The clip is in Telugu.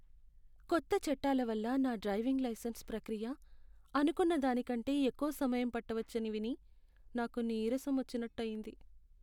కొత్త చట్టాల వల్ల నా డ్రైవింగ్ లైసెన్స్ ప్రక్రియ అనుకున్న దానికంటే ఎక్కువ సమయం పట్టవచ్చని విని నాకు నీరసం వచ్చినట్టు అయింది.